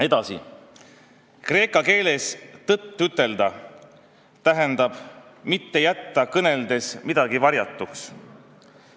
" Edasi: "Kreeka keeles "tõtt ütelda" tähendab: mitte jätta kõneldes midagi varjatuks.